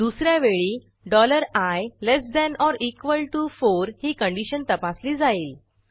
दुस या वेळी i less than or equal to 4 ही कंडिशन तपासली जाईल